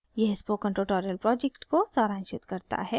यह spoken tutorial project को सारांशित करता है